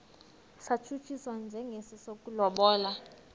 satshutshiswa njengesi sokulobola